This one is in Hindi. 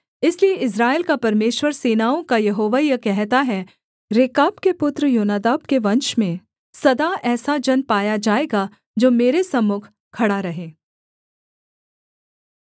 इसलिए इस्राएल का परमेश्वर सेनाओं का यहोवा यह कहता है रेकाब के पुत्र योनादाब के वंश में सदा ऐसा जन पाया जाएगा जो मेरे सम्मुख खड़ा रहे